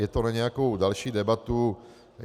Je to na nějakou další debatu.